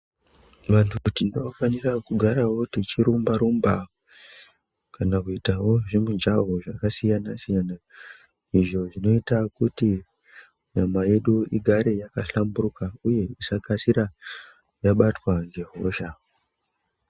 Vantu kuti tinofanira kugarawo tichirumba-rumba, kana kuitawo zvimijaho zvakasiyana-siyana, izvo zvinoita kuti nyama yedu igare yakahlamburuka, uye isakasira yabatwa ngehosha.